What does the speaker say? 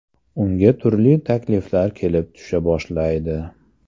Unga turli takliflar kelib tusha boshlaydi.